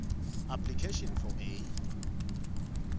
application for a